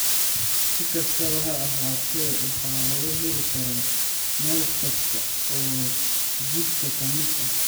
Si kastaba ha ahaatee, waxa laga heli karaa meel kasta oo jidhka ka mid ah.